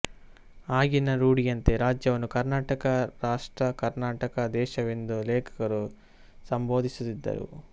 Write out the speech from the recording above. ಆಗಿನ ರೂಢಿಯಂತೆ ರಾಜ್ಯವನ್ನು ಕರ್ನಾಟಕ ರಾಷ್ಟ್ರ ಕರ್ನಾಟಕ ದೇಶವೆಂದು ಲೇಖಕರು ಸಂಬೋಧಿಸುತ್ತಿದ್ದರು